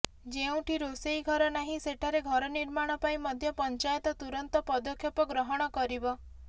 ଯେଉଁଠି ରୋଷେଇ ଘର ନାହିଁ ସେଠାରେ ଘର ନିର୍ମାଣ ପାଇଁ ମଧ୍ୟ ପଞ୍ଚାୟତ ତୁରନ୍ତ ପଦକ୍ଷେପ ଗ୍ରହଣ କରିବ